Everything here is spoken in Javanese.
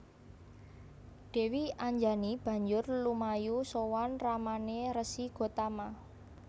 Dèwi Anjani banjur lumayu sowan ramané Resi Gotama